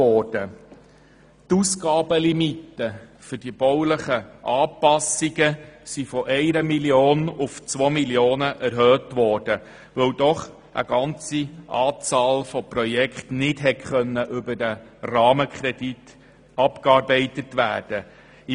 Die Ausgabenlimite für die baulichen Anpassungen wurde von 1 auf 2 Mio. Franken erhöht, weil eine Anzahl von Projekten nicht über den Rahmenkredit abgearbeitet werden konnte.